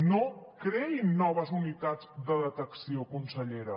no creïn noves unitats de detecció consellera